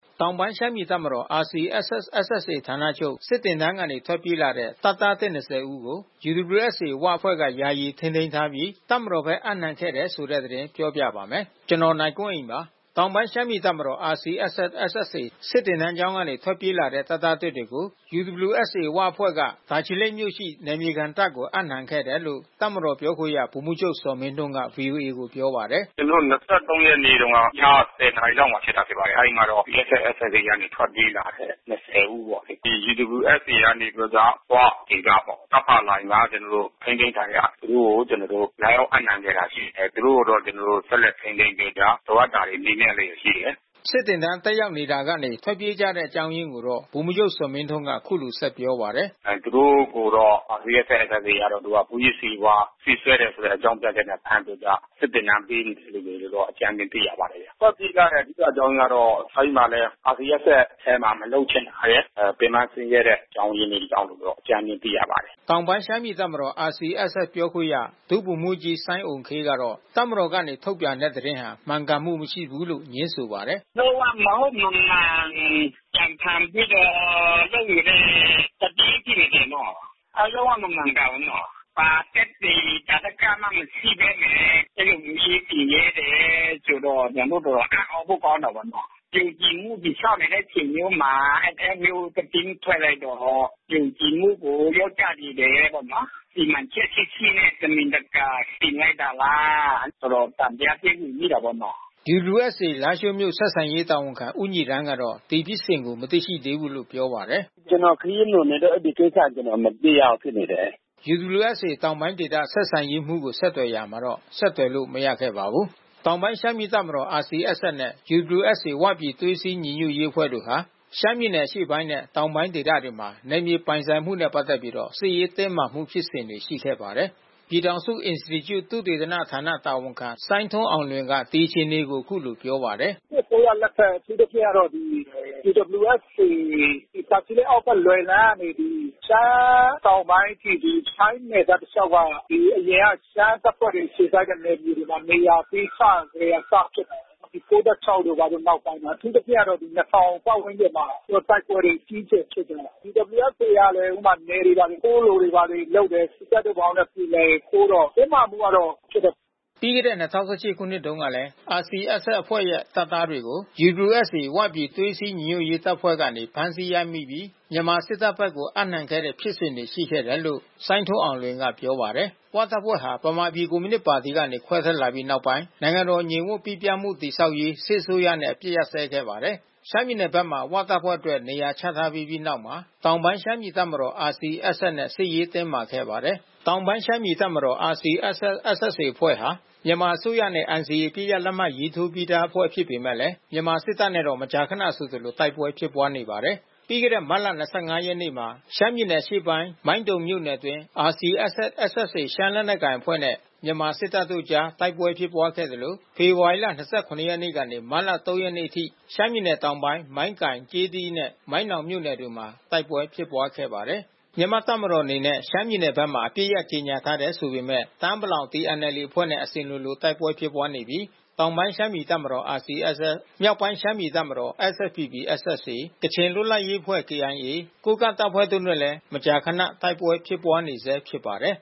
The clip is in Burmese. တောင်ပိုင်းရှမ်းပြည်တပ်မတော် RCSS/SSA ဌာနချုပ် စစ်သင်တန်းကနေ ထွက်ပြေးလာတဲ့ တပ်သားသစ် ၂၀ ဦးကို UWSA ဝအဖွဲ့က ယာယီထိန်းသိမ်းထားရှိပြီး တပ်မတော်ဘက် အပ်နှံခဲ့ပါတယ်။ အပြည့်အစုံကို နိုင်ကွန်းအိန် စုစည်း တင်ပြထားပါတယ်။ တောင်ပိုင်းရှမ်းပြည်တပ်မတော် RCSS/SSA စစ်သင်တန်းကျောင်းကနေ ထွက်ပြေးလာတဲ့ တပ်သားသစ်တွေကို UWSA ဝအဖွဲ့က တာချီလိတ်မြို့ရှိ နယ်မြေခံတပ်ကို အပ်နှံခဲ့တယ်လို့ တပ်မတော်ပြောခွင့်ရ ဗိုလ်မှူးချုပ် ဇော်မင်းထွန်းက ဗွီအိုအေကို ပြောပါတယ်။ “ကျနော်တို့ ၂၃ ရက်နေ့တုန်းက ည ၁၀ နာရီလောက်မှာ ဖြစ်ပါတယ်။ RCSS/SSA ကနေ ထွက်ပြေးလာတယ် ၂၀ ဦးပေါ့။ ဒီ UWSA ကနေပြီးတော့ ဝဒေသပေါ့ တပ်ဖာလိုင်မှာ ထိန်းသိမ်းခံရ၊ သူတို့ကို လာရောက်အပ်နှံခဲ့တာ ရှိတယ်။ သူတို့ကို ကျနော်တို့ ဆက်လက်ထိန်းသိမ်းပြီးတော့ လိုအပ်တာတွေ မေးမြန်းလျက်ရှိတယ်။” စစ်သင်တန်း တက်ရောက်နေတာကနေ ထွက်ပြေးကြတဲ့ အကြောင်းရင်းကို ဗိုလ်မှူးချုပ် ဇော်မင်းထွန်းက အခုလို ဆက်ပြောပါတယ်။ “သူတို့ကိုတော့ RCSS/SSA က မူးယစ်ဆေးဝါး ဆေးစွဲတယ်ဆိုတဲ့ အကြောင်းပြချက်နဲ့ ဖမ်းပြီးတော့ စစ်သင်တန်း ပေးနေတယ်လို့တော့ အကြမ်းဖျင်း သိရပါတယ်။ ထွက်ပြေးရတဲ့ အဓိကအကြောင်းအရင်းကတော့ RCSS/SSA ထဲမှာ မလုပ်ချင်တာရယ်၊ ပင်ပန်းဆင်းရဲတဲ့ အကြောင်းရင်းတွေကြောင့်လို့ အကြမ်းဖျင်း သိရပါတယ်။” တောင်ပိုင်းရှမ်းပြည်တပ်မတော် RCSS ပြောခွင့်ရ ဒုဗိုလ်မှူးကြီး စိုင်းအုမ်ခေးကတော့ တပ်မတော်ကနေ ထုတ်ပြန်တဲ့ သတင်းဟာ မှန်ကန်မှုမရှိဘူးလို့ ငြင်းဆိုပါတယ်။ “လုံး၀ မဟုတ်မမှန် ကြံဖန်ပြီးတော့ လုပ်နေတဲ့သတင်း ဖြစ်နေတယ်နော်။ လုံး၀ မမှန်ကန်ဘူးနော်။ ဘာသက်သေ သာဓကမှ မရှိဘဲနဲ့ အဲဒီလိုမျိုး ရေးတင်ရဲတယ်ဆိုတော့ ကျနော်တို့ တော်တော်အံ့သြဖို့ ကောင်းတာပေါ့နော်။ ယုံကြည်မှုတည်ဆောက်နေတဲ့ အချိန်မျိုးမှာ အဲဒီလိုမျိုး သတင်းထွက်လိုက်တော့ ယုံကြည်မှုကို လျော့ကျစေတယ်ပေါ့နော်။ စီမံချက်ရှိရှိနဲ့ တမင်တကာ တင်လိုက်တာလား တော်တော် သံသယဖြစ်နေမိတာပေါ့နော်။” UWSA လားရှိုးမြို့ ဆက်ဆံရေးတာဝန်ခံ ဦးညီရမ်းကတော့ ဒီဖြစ်စဉ်ကို မသိရှိသေးဘူးလို့ ပြောပါတယ်။ “ကျနော် ခရီးလွန်နေလို့ အဲဒီကိစ္စ ကျနော် မသိရဘူးဖြစ်နေတယ်။” UWSA တောင်ပိုင်းဆက်ဆံရေးမှူးကို ဆက်သွယ်ရာမှာ ဆက်သွယ်လို့ မရခဲ့ပါဘူး။ တောင်ပိုင်းရှမ်းပြည်တပ်မတော် RCSS နဲ့ UWSA ဝပြည်သွေးစည်းညီညွတ်ရေး တပ်ဖွဲ့ဟာ ရှမ်းပြည်နယ် အရှေ့ပိုင်းနဲ့ တောင်ပိုင်းဒေသတွေမှာ နယ်မြေပိုင်ဆိုင်မှုနဲ့ ပတ်သက်ပြီး စစ်ရေးတင်းမာမှု ဖြစ်စဉ်တွေ ရှိခဲ့ပါတယ်။ ပြည်ထောင်စုအင်စတီကျု သုတေသနဌာန တာဝန်ခံ စိုင်းထွန်းအောင်လွင်က ဒီအခြေအနေကို အခုလိုပြောပါတယ်။ “စစ်အစိုးရလက်ထက် အထူးသဖြင့်ကတော့ UWSA တာချီလိတ်အောက်ဘက် လွယ်လန်းကနေပြီး ရှမ်းတောင်ပိုင်းအထိ ထိုင်းနယ်စပ်တလျှောက်က အရင်က ရှမ်းတပ်ဖွဲ့တွေ အခြေစိုက်တဲ့ နယ်မြေတွေမှာ နေရာပေးစကတည်းက စဖြစ်တာပေါ့နော်။ ဒီ ၉၆ တို့ နောက်ပိုင်းမှာ အထူးသဖြင့်ကတော့ ၂၀၀၀ ပတ်ဝန်းကျင်မှာ တိုက်ပွဲတွေ အကြီးအကျယ်ဖြစ်တယ်။ UWSA ကလည်း နယ်တွေဘာတွေ တိုးလိုတာတွေ လုပ်တယ်။ စစ်တပ်နဲ့ ဘာနဲ့ ပြေလည်ရင် တိုးတော့ တင်းမာမှုကတော့ ဖြစ်တယ်။” ပြီးခဲ့တဲ့ ၂၀၁၈ ခုနှစ်တုန်းကလည်း RCSS အဖွဲ့ရဲ့ တပ်သားတွေကို UWSA ဝပြည်သွေးစည်းညီညွတ်ရေး တပ်ဖွဲ့ကနေ ဖမ်းဆီးရမိပြီး မြန်မာစစ်တပ်ဘက်ကို အပ်နှံခဲ့တဲ့ ဖြစ်စဉ်တွေ ရှိခဲ့တယ်လို့ စိုင်းထွန်းအောင်လွင်က ပြောပါတယ်။ ဝတပ်ဖွဲ့ဟာ ဗမာပြည်ကွန်မြူနစ်ပါတီကနေ ခွဲထွက်လာပြီးနောက်ပိုင်း နိုင်ငံတော်ငြိမ်ဝပ်ပိပြားမှု တည်ဆောက်ရေး စစ်အစိုးရနဲ့ အပစ်အခတ် ရပ်စဲခဲ့ပါတယ်။ ရှမ်းပြည်နယ်ဘက်မှာ ဝတပ်ဖွဲ့အတွက် နေရာချထားပေးပြီးနောက်မှာ တောင်ပိုင်းရှမ်းပြည်တပ်မတော် RCSS နဲ့ စစ်ရေးတင်းမာခဲ့ပါတယ်။ တောင်ပိုင်းရှမ်းပြည်တပ်မတော် RCSS/SSA အဖွဲ့ဟာ မြန်မာအစိုးရနဲ့ NCA အပစ်ရပ် လက်မှတ်ရေးထိုးပြီးသားအဖွဲ့ ဖြစ်ပေမယ့် မြန်မာစစ်တပ်နဲ့တော့ မကြာခနဆိုသလို တိုက်ပွဲဖြစ်ပွားနေပါတယ်။ ပြီးခဲ့တဲ့ မတ်လ ၂၅ ရက်နေ့မှာ ရှမ်းပြည်နယ်အရှေ့ပိုင်း မိုင်းတုံမြို့နယ်အတွင်း RCSS/SSA ရှမ်းလက်နက်ကိုင်အဖွဲ့နဲ့ မြန်မာ့တပ်မတော်တို့အကြား တိုက်ပွဲဖြစ်ပွားခဲ့သလို ဖေဖော်ဝါရီလ ၂၇ ရက်နေ့ကနေ မတ်လ ၃ ရက်နေ့အထိ ရှမ်းပြည်နယ်တောင်ပိုင်း မိုင်းကိုင်၊ ကျေးသီးနဲ့ မိုင်းနောင်မြို့နယ်တို့မှာ တိုက်ပွဲဖြစ်ပွားခဲ့ပါတယ်။ မြန်မာတပ်မတော်အနေနဲ့ ရှမ်းပြည်နယ်ဘက်မှာ အပစ်ရပ် ကြေညာထားတယ် ဆိုပေမယ့် တအာင်းပလောင် TNLA အဖွဲ့နဲ့ အစဉ်လိုလို တိုက်ပွဲဖြစ်ပွားနေပြီး တောင်ပိုင်းရှမ်းပြည်တပ်မတော် RCSS၊ မြောက်ပိုင်းရှမ်းပြည်တပ်မတော် SSPP/SSA၊ ကချင်လွတ်လပ်ရေးအဖွဲ့ KIA၊ ကိုးကန့်တပ်ဖွဲ့တို့နဲ့လည်း မကြာခန တိုက်ပွဲဖြစ်ပွားနေဆဲ ဖြစ်ပါတယ်